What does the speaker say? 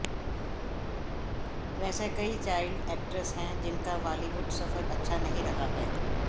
वैसे कई child actors हैं जिनका बॉलीवुड सफर अच्छा नहीं रहा है